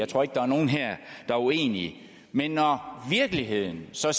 tror ikke der er nogen her der er uenige men når virkeligheden så